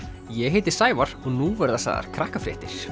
ég heiti Sævar og nú verða sagðar